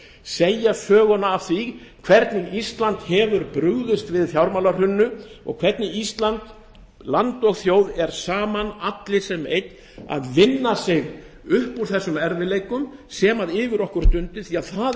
segja söguna af því hvernig ísland hefur brugðist við fjármálahruninu og hvernig ísland land og þjóð er saman allir sem einn að vinna sig upp úr þeim erfiðleikum sem yfir okkur dundu því að það er